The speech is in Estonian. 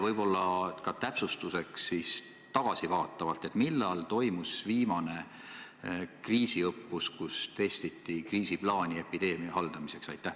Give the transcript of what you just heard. Võib-olla ka täpsustuseks tagasivaatavalt, millal toimus viimane kriisiõppus, kus testiti kriisiplaani epideemia haldamiseks?